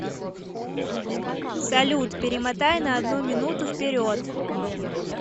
салют перемотай на одну минуту вперед